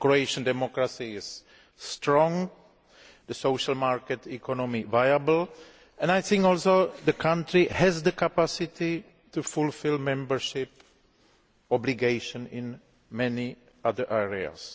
Croatian democracy is strong, the social market economy is viable and I also think the country has the capacity to fulfil membership obligations in many other areas.